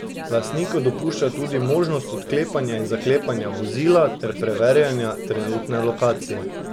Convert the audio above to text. Lastniku dopušča tudi možnost odklepanja in zaklepanja vozila ter preverjanja trenutne lokacije.